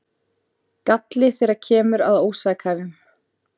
Galli þegar kemur að ósakhæfum